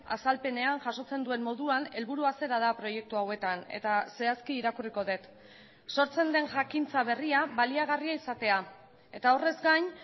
azalpenean jasotzen duen moduan helburua zera da proiektu hauetan eta zehazki irakurriko dut sortzen den jakintza berria baliagarria izatea eta horrez gain